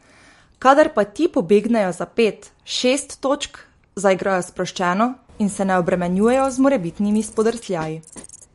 Kadar pa ti pobegnejo za pet, šest točk, zaigrajo sproščeno in se ne obremenjujejo z morebitnimi spodrsljaji.